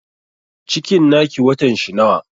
Cikin na ki watan shi nawa?